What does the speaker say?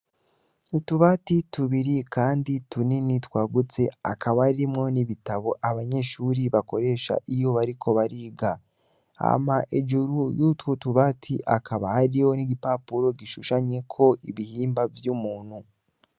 Utubati tubiri kandi tunini twagutse hakaba harimwo n'ibitabo abanyeshure bakoresha iyo bariko bariga, hama hejuru y'utwo tubati hakaba hariho n'igipapuro gishushanyeko ibihimba vy'umuntu.